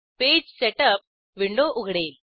page setup window उघडेल